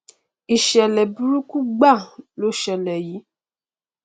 iṣẹlẹ burúkú gbáà lo ṣẹlẹ yìí